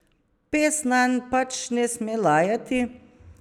Pes nanj pač ne sme lajati!